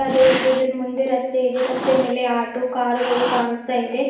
ಅದೇ ರೀತಿ ಇದರ ಮುಂದೆ ರಸ್ತೆ ಇದೆ ರಸ್ತೆ ಮೇಲೆ ಆಟೋ ಕಾರುಗಳು ಕಾಣಿಸ್ತಾಇದೆ.